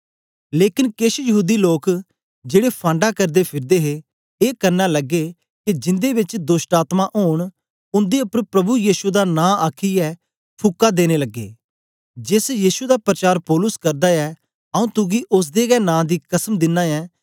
लेकन केछ यहूदी लोक जेड़े फाँडा करदे फिरदे हे ए करना लगे के जिन्दे बेच दोष्टआत्मायें ओंन उन्दे उपर प्रभु यीशु दा नां आखीयै फुकां देन लगे जेस यीशु दा परचार पौलुस करदा ऐ आंऊँ तुगी ओसदे गै नां दी कसम दिनां ऐं